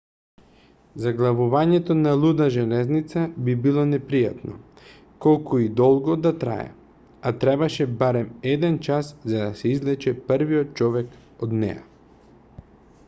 заглавувањето на луда железница би било непријатно колку и долго да трае а требаше барем еден час за да се извлече првиот човек од неа